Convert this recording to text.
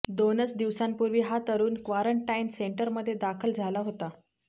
दोनच दिवसांपूर्वी हा तरूण क्वारंटाइन सेंटरमध्ये दाखल झाला होता